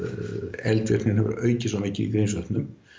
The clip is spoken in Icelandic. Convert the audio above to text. eldvirkni hefur aukist svo mikið í Grímsvötnum